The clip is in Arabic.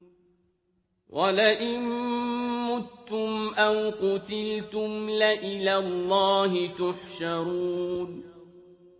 وَلَئِن مُّتُّمْ أَوْ قُتِلْتُمْ لَإِلَى اللَّهِ تُحْشَرُونَ